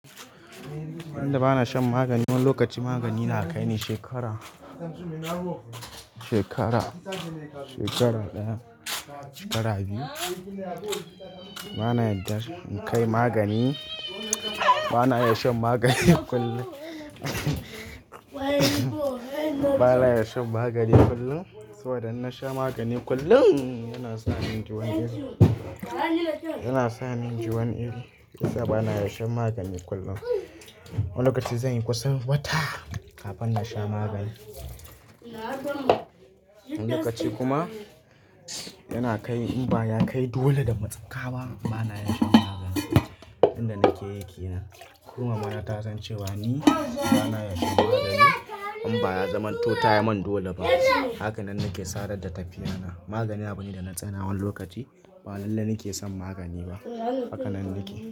Ba inda bana shan magani. Wani lokaci magani yana kai ni shekara, shekara, shekara ɗaya, shekara biyu. Bana yardar in kai magani. Bana iya shan magani kullum. Bana iya shan magani kullum, saboda in na sha magani kullum, yana sa min jini. Yana sa ni inji wani iri, shi yasa bana iya shan magani kullum. Wani lokaci zan yi kusan wata kafin na sha magani. Wani lokaci kuma, yana kai in ba ya kai dole da matsaka ba bana iya shan magani. Inda nake yake nan. Ko mamana ta san cewa ni bana iya shan magani in ba ya zamanto tayi mun dole ba. Hakanan nake sadar da tafiya na. Magani ba ne da na tsana wani lokaci. Ba lalle nake son magani ba. Hakanan nake.